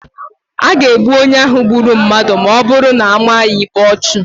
A ga-egbu onye ahụ gburu mmadụ ma ọ bụrụ na a maa ya ikpe igbu ọchụ.